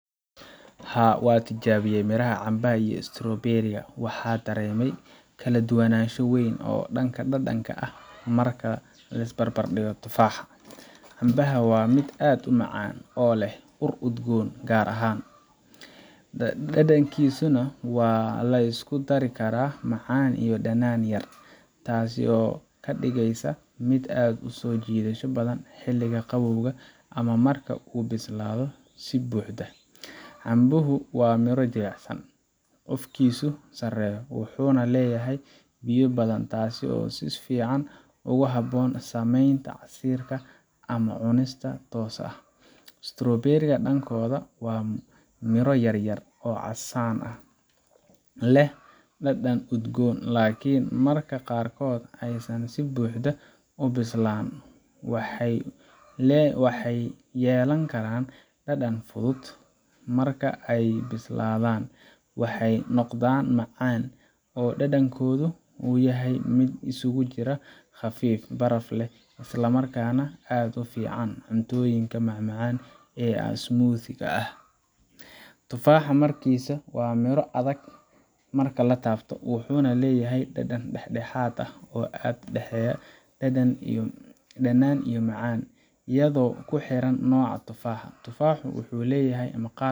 Haa, waan tijaabiyey miraha cambaha iyo strawberries ka, waxaana dareemay kala duwanaansho weyn oo dhanka dhadhanka ah marka la barbardhigo tufaaxa Cambaha waa mid aad u macaan, oo leh ur udgoon oo gaar ah, dhadhankiisuna waa la isku dari karaa macaan iyo dhanaan yar, taas oo ka dhigaysa mid aad u soo jiidasho badan xilliga qabowga ama marka uu bislaado si buuxda. Cambuhu waa miro jilicsan, cufkiisu sarreeyo, wuxuuna leeyahay biyo badan, taas oo si fiican ugu habboon samaynta casiirka ama cunista toos ah. strawberries ka, dhankooda, waa miro yar yar oo casaanka ah, leh dhadhan udgoon, laakiin marka qaarkood aysan si buuxda u bislaan, waxay yeelan karaan dhanaan fudud. Marka ay bislaadaan, waxay noqdaan macaan, oo dhadhankooda uu yahay mid isugu jira khafiif, baraf leh, isla markaana aad ugu fiican cuntooyinka macmacaanka ah ama smoothies ka ah Tufaaxa, markiisa, waa miro adag marka la taabto, wuxuuna leeyahay dhadhan dhexdhexaad ah oo u dhexeeya dhanaan iyo macaan, iyadoo ku xiran nooca tufaaxa. Tufaaxu wuxuu leeyahay